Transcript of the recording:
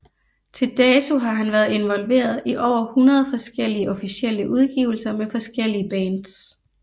Til dato har han været involveret i over hundrede forskellige officielle udgivelser med forskellige bands